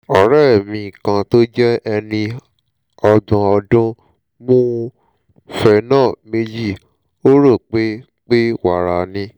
ọ̀rẹ́ mi kan tó jẹ́ ẹni ọgbọ̀n ọdún mu phenol méjì ó rò pé pé wàrà ni